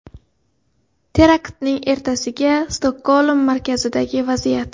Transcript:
Teraktning ertasiga Stokgolm markazidagi vaziyat.